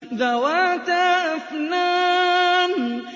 ذَوَاتَا أَفْنَانٍ